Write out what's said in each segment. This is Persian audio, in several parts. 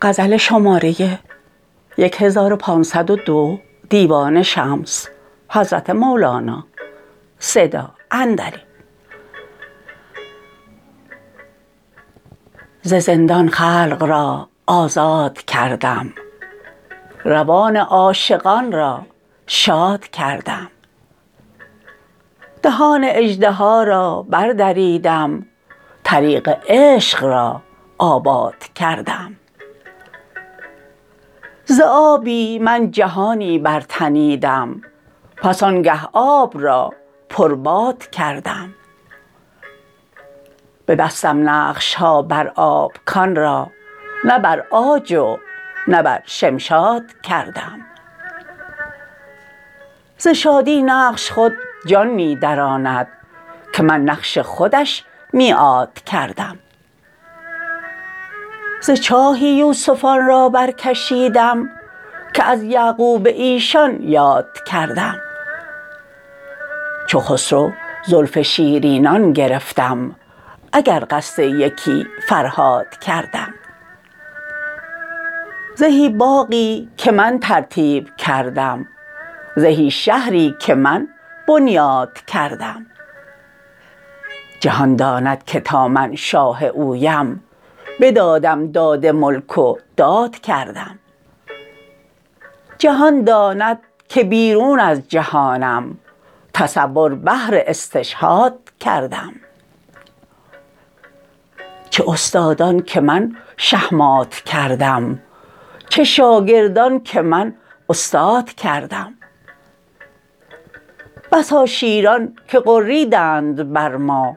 ز زندان خلق را آزاد کردم روان عاشقان را شاد کردم دهان اژدها را بردریدم طریق عشق را آباد کردم ز آبی من جهانی برتنیدم پس آنگه آب را پرباد کردم ببستم نقش ها بر آب کان را نه بر عاج و نه بر شمشاد کردم ز شادی نقش خود جان می دراند که من نقش خودش میعاد کردم ز چاهی یوسفان را برکشیدم که از یعقوب ایشان یاد کردم چو خسرو زلف شیرینان گرفتم اگر قصد یکی فرهاد کردم زهی باغی که من ترتیب کردم زهی شهری که من بنیاد کردم جهان داند که تا من شاه اویم بدادم داد ملک و داد کردم جهان داند که بیرون از جهانم تصور بهر استشهاد کردم چه استادان که من شهمات کردم چه شاگردان که من استاد کردم بسا شیران که غریدند بر ما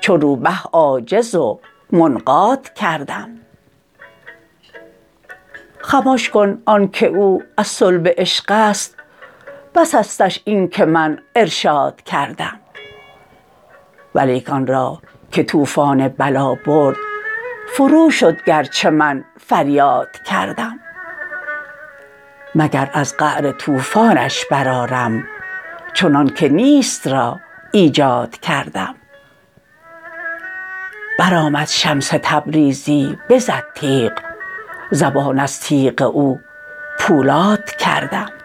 چو روبه عاجز و منقاد کردم خمش کن آنک او از صلب عشق است بسستش اینک من ارشاد کردم ولیک آن را که طوفان بلا برد فروشد گرچه من فریاد کردم مگر از قعر طوفانش برآرم چنانک نیست را ایجاد کردم برآمد شمس تبریزی بزد تیغ زبان از تیغ او پولاد کردم